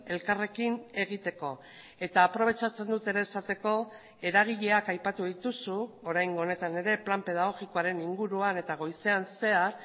elkarrekin egiteko eta aprobetxatzen dut ere esateko eragileak aipatu dituzu oraingo honetan ere plan pedagogikoaren inguruan eta goizean zehar